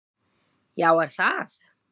Já er það!